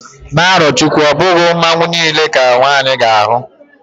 na arochukwu, obughi Mmanwu nile ka nwanyi ga-ahu